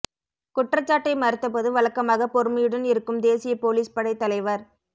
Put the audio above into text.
குற்றச்சாட்டை மறுத்த போது வழக்கமாக பொறுமையுடன் இருக்கும் தேசியப் போலீஸ் படைத் தலைவர்